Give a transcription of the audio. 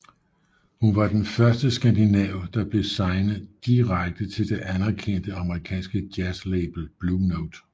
Hun var den første skandinav der blev signet direkte til det anerkendte amerikanske jazzlabel Blue Note